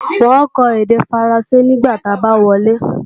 N ó kọ́ èdè Faransé nígbà ta bá wọlé